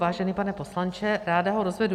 Vážený pane poslanče, ráda ho rozvedu.